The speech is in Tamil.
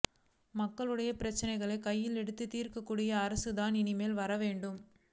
மக்களுடைய பிரச்சினையை கையிலெடுத்து தீர்க்கக்கூடிய அரசு தான் இனிமேல் வரவேண்டும்